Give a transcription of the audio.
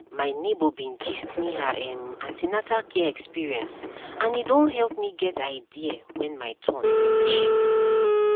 my neighbor bin gist me her um an ten atal care experienceand e don help me get idea when my turn reach